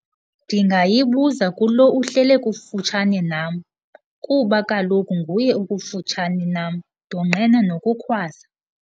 Ndingayibuza kulo uhlele kufutshane nam kuba kaloku nguye okufutshane nam, ndonqena nokukhwaza.